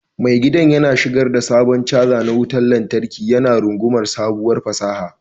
Mai gidan yana shigar da sabon caja na wutar lantarki, yana rungumar sabuwar fasaha.